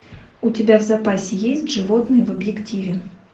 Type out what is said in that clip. у тебя в запасе есть животные в объективе